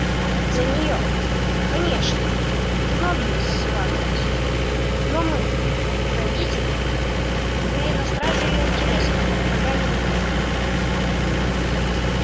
за неё конечно многие сватались но мы родители были на страже её интересов и врага не допустили